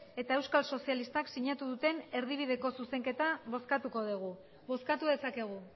eta euskal sozialistak sinatu duten erdibideko zuzenketa bozkatuko dugu bozkatu dezakegu